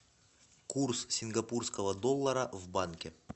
курс сингапурского доллара в банке